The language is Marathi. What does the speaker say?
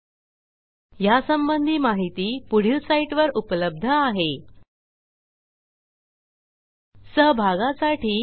spoken hyphen tutorial dot O R G slash NMEICT hyphen intro ह्या ट्युटोरियलचे भाषांतर मनाली रानडे यांनी केले असून मी रंजना भांबळे आपला निरोप घेते160